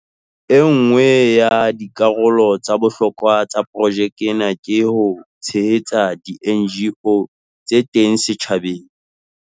E nngwe ya dikarolo tsa bohlokwa tsa projeke ena ke ho tshehetsa di-NGO tse teng setjhabeng.